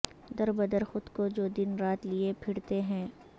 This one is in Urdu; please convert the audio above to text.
در بدر خود کو جو دن رات لئے پھرتے ہیں